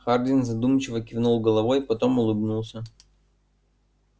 хардин задумчиво кивнул головой потом улыбнулся